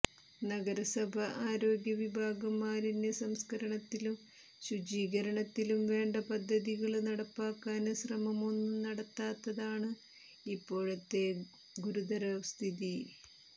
നഗരസഭ ആരോഗ്യ വിഭാഗം മാലിന്യ സംസ്ക്കരണത്തിലും ശുചീകരണത്തിനും വേണ്ട പദ്ധതികള് നടപ്പാക്കാന് ശ്രമമൊന്നും നടത്താത്തതാണ് ഇപ്പോഴത്തെ ഗുരുതര സ്ഥിതി